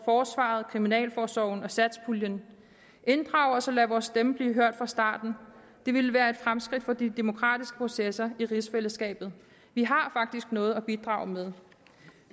forsvaret kriminalforsorgen og satspuljen inddrag os og lad vores stemme blive hørt fra starten det ville være et fremskridt for de demokratiske processer i rigsfællesskabet vi har faktisk noget at bidrage med